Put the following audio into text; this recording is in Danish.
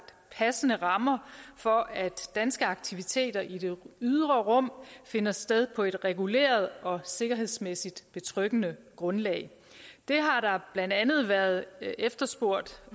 passende rammer for at danske aktiviteter i det ydre rum finder sted på et reguleret og sikkerhedsmæssigt betryggende grundlag det har blandt andet været efterspurgt